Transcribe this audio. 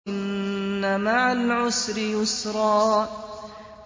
إِنَّ مَعَ الْعُسْرِ يُسْرًا